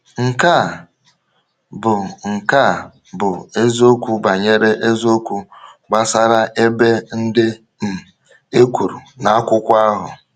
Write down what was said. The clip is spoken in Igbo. Nke a bụ Nke a bụ eziokwu banyere eziokwu gbasara ebe ndị um e kwuru na akwụkwọ ahụ.